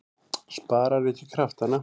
Sparar ekki kraftana.